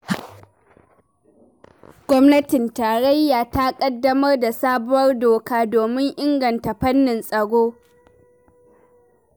Gwamnatin Tarayya ta ƙaddamar da sabuwar doka domin inganta fannin tsaro.